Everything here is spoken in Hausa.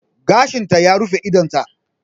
Gashinta ya rufe idonta.